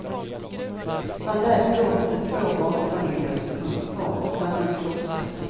Man lät dock de två barnfamiljer som fanns kvar stanna i klostret.